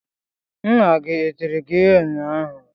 Nna gị e tiri gị ịhe unyaahụ?